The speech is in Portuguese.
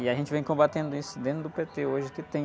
E a gente vem combatendo isso dentro do pê-tè hoje que tem.